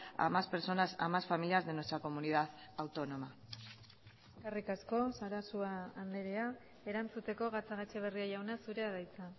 a más personas a más familias de nuestra comunidad autónoma eskerrik asko sarasua andrea erantzuteko gatzagaetxebarria jauna zurea da hitza